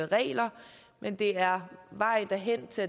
regler men det er vejen hen til